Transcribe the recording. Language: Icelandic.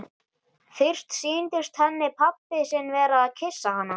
Fyrst sýndist henni pabbi sinn vera að kyssa hana.